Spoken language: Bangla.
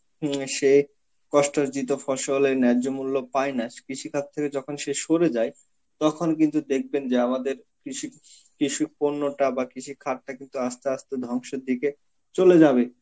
হম সে কষ্টার্জিত ফসলে ন্যায্য মূল্য পায়না, কৃষিখাত থেকে যখন শেষ সরে যায় তখন কিন্তু দেখবেন যে আমাদের কৃষিক~ কৃষিক পূর্ণতা বা কৃষিখাতটা কিন্তু আস্তে আস্তে ধ্বংসের দিকে চলে যাবে.